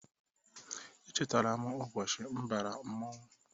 Echetara m ụbọchị m bara mmonwu.